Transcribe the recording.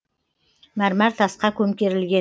мәрмәр тасқа көмкерілген